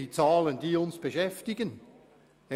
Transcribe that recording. Diese Zahlen beschäftigen uns.